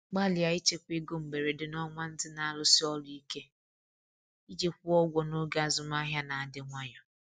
Gbalịa ichekwa ego mberede n’ọnwa ndị na-arụsi ọrụ ike iji kwụọ ụgwọ n’oge azụmahịa na-adị nwayọ.